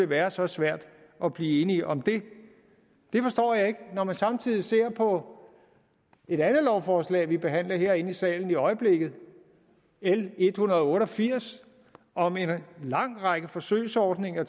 være så svært at blive enige om det det forstår jeg ikke når man samtidig ser på et andet lovforslag vi behandler herinde i salen i øjeblikket l en hundrede og otte og firs om en lang række forsøgsordninger